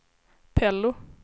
Pello